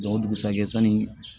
o dugusajɛ sanni